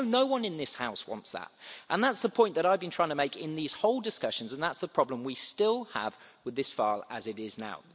I know no one in this House wants that. That's the point that I've been trying to make in these whole discussions, and that's the problem we still have with this file as it is now.